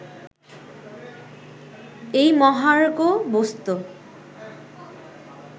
এই মহার্ঘ বস্তু